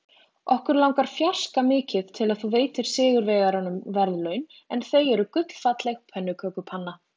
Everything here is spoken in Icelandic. Okkur langar fjarska mikið til að þú veitir sigurvegaranum verðlaunin en þau eru gullfalleg pönnukökupanna.